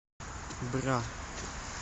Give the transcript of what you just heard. бра